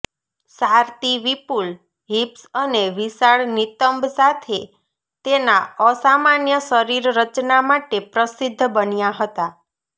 Saartjie વિપુલ hips અને વિશાળ નિતંબ સાથે તેના અસામાન્ય શરીર રચના માટે પ્રસિદ્ધ બન્યા હતા